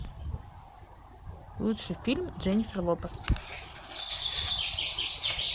лучший фильм дженнифер лопес